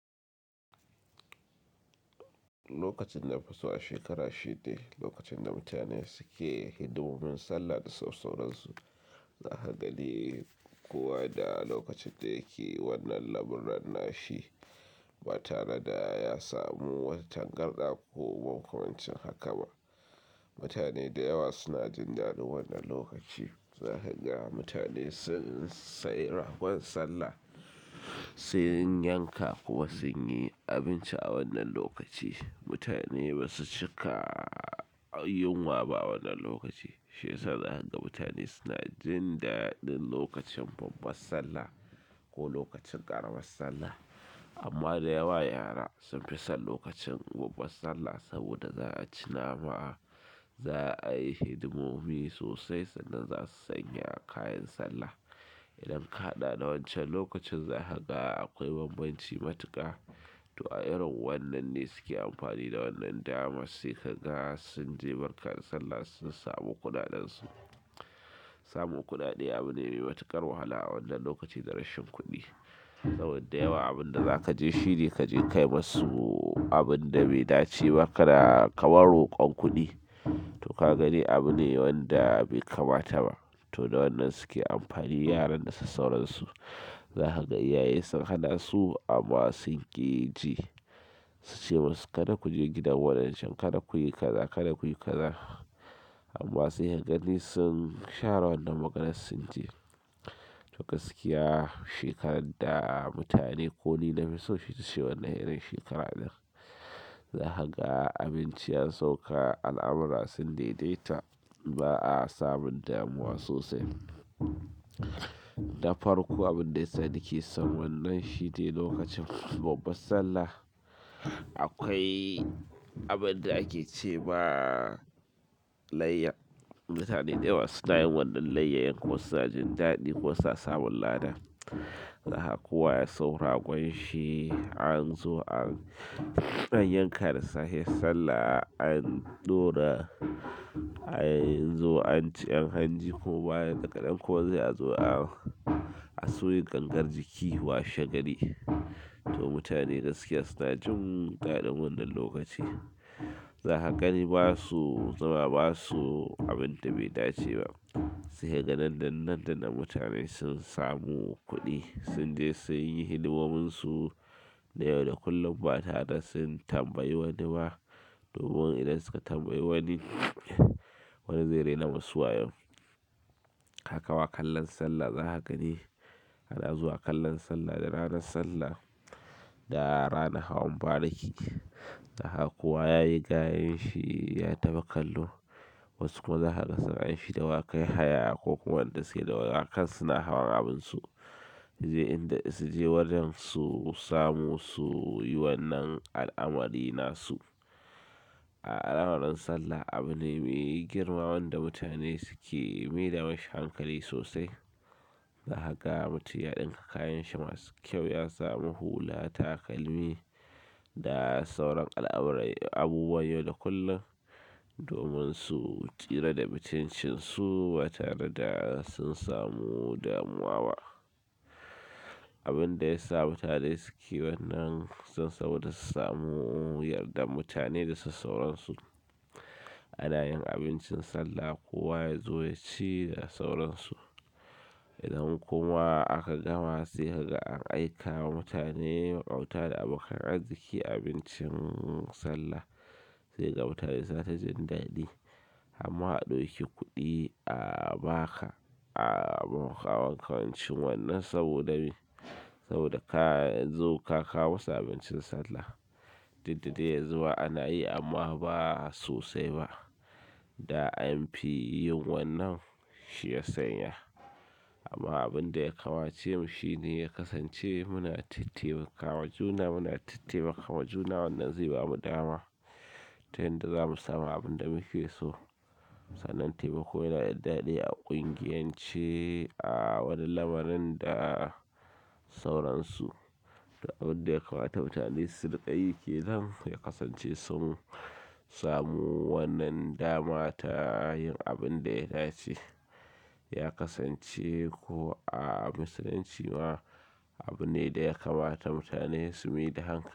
Lokacin na fi so a shekara shi de, lokacin da mutane suke hidimomin Sallah da sauransu. Za ka gani kuwa da lokacin da yake wannan lamuran nashi, ba tare da ya samu wata targanɗa ko makwancin haka ba. Mutane da yawa suna jin daɗin wannan lokaci. Za ka ga mutane sun sayi ragon Sallah, sun yanka kuma sun yi abinci a wannan lokaci. Mutane ba su cika yinwa ba wannan lokaci, shi yasa za ka ga mutane suna jin daɗin lokacin babbar Sallah ko lokacin ƙaramar Sallah. Amma da yawa yara sun fi son lokacin babbar Sallah saboda za a ci nama, za a yi hidimomi sosai sannan za su sanya kayan Sallah. Idan ka haɗa da wancan lokacin za ka ga akwai bambanci matuƙa. To a irin wannan ne suke amfani da wannan dama sai ka ga sun je barkar Sallah sun samu kudadansu. Samun kuɗaɗe abu ne mai matuƙar wahala a wannan lokaci da rashin kuɗi. Saboda da yawa abin da za ka je shi ne ka je kai musu abin da bai dace ba ka da kamar rokon kuɗi. To ka gani abu ne wanda bai kamata ba. To da wannan suke amfani yaran da sassauransu. Za ka ga iyaye sun hana su amma sun ƙi ji. Su ce musu kada ku je gidan wayancen kada kuyi kaza, kada kuyi kaza, amma sai kaga sun share wannan maganar sun je to ka gaskiya shekarar da mutane ko ni fi so ita ce wannan irin shekarar ne. Za ka ga abinci ya sauka al'amura sun daidaita ba a samun damuwa sosai. Na farko abin da ya sani ke son wannan shine lokacin babbar Sallah, akwai abin da ake ce ma layya. Mutane da yawa suna yin wannan layyayen ko suna jin daɗi ko suna samun lada. Za ka kowa ya sayo ragon shi an zo an yanka da sahiyar Sallah, an ɗora an zo an ci yan hanji ko baya daga nan ko sai azo a soya gangar jiki washe gari. To mutane gaskiya suna jin dadin wannan lokaci. Za ka gani ba su zama ba su abin da bai dace ba. Sai ka ga nan da nan da nan mutane sun samu kuɗi sun je sun yi hidimominsu. Da yau da kullum ba tare da sun tambayi wani ba. Domin idan suka tambayi wani, wani zai rena musu wayo. Haka wa kallon Sallah za ka gani, ana zuwa kallon Sallah da ranar Sallah da ranar hawan bariki. Zaka ga kowa yayi gayun shi ya tafi kallo. Wasu kuma za ka ga suna yin shi dawaƙan haya ko kuma wanda suke dawaƙan su suna hawan abinsu. Sai inda su je wajen su samu su yi wannan al'amari nasu. A al'amuran Sallah abu ne mai girma wanda mutane suke maida mashi hankali sosai. Za ka ga mutum ya ɗinka kayan shi masu kyau ya samu hula takalmi da sauran al'amuran abubuwa yau da kullum. Domin su tsira da mutuncin su ba tare da sun samu damuwa ba. Abin da ya sa mutane suke wannan saboda su samu yardar mutane da sassauransu. Ana yin abincin Sallah kowa yazo yaci da sauransu. Idan kuma aka gama sai kaga an aika ma mutane makota da abokan arziki abincin sallah, sai kaga mutane suna ta jin dadi, har ma a dauki kudi a baka, a baka makamancin wannan saboda me? Saboda kazo ka kawo musu abincin sallah. Duk da dai yanzu ma ana yi amma ba sosai ba. Da an fi yin wannan shi ya sanya. Amma abinda ya kamace mu shine ya kasance muna tattaimaka wa juna, muna tattaimaka wa juna wannan zai bamu dama ta yanda zamu samu abinda muke so. Sannan taimako yana da dadi a kungiyance a wani lamarin da sauransu. To abin da ya kamata mutane su riƙe yj kenan ya kasance sun samu wannan dama ta yin abin da ya dace. Ya kasance ko a musulunci ma, abu ne da ya kamata mutane su maida hankali.